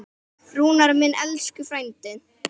Rúnar minn, elsku frændi.